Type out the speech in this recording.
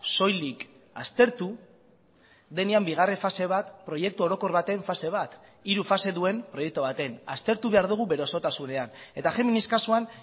soilik aztertu denean bigarren fase bat proiektu orokor baten fase bat hiru fase duen proiektu baten aztertu behar dugu bere osotasunean eta géminis kasuan